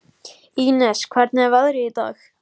Ínes, hvernig er veðrið í dag?